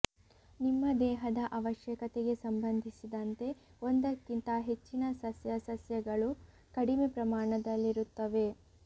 ನಿಮ್ಮ ದೇಹದ ಅವಶ್ಯಕತೆಗೆ ಸಂಬಂಧಿಸಿದಂತೆ ಒಂದಕ್ಕಿಂತ ಹೆಚ್ಚಿನ ಸಸ್ಯ ಸಸ್ಯಗಳು ಕಡಿಮೆ ಪ್ರಮಾಣದಲ್ಲಿರುತ್ತವೆ